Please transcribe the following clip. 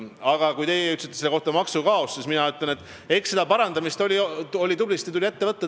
Aga kui teie ütlesite selle kohta "maksukaos", siis mina ütlen, et parandamist tuli tõesti tublisti ette võtta.